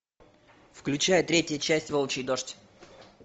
включай третья часть волчий дождь